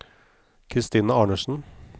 Christina Arnesen